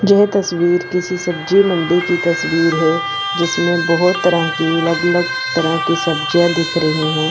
यह तस्वीर किसी सब्जी मंडी की तस्वीर है जिसमें बहोत तरह की अलग अलग तरह की सब्जियां दिख रही है।